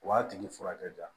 O b'a tigi furakɛ